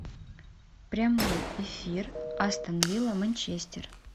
прямой эфир астон вилла манчестер